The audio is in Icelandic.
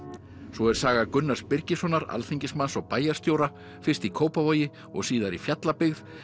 svo er saga Gunnars Birgissonar alþingismanns og bæjarstjóra fyrst í Kópavogi og síðar í Fjallabyggð